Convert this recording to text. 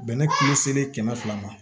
Bɛnɛ kulu selen kɛmɛ fila ma